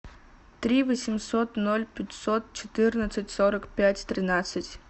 три восемьсот ноль пятьсот четырнадцать сорок пять тринадцать